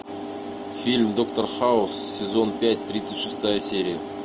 фильм доктор хаус сезон пять тридцать шестая серия